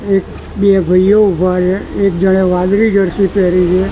એક બે ભાઇઓ ઊભા છે એક જણે વાદળી જર્સી પેરી છે.